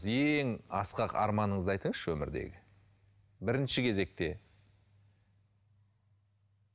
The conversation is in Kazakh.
ең асқақ арманыңызды айтыңызшы өмірдегі бірінші кезекте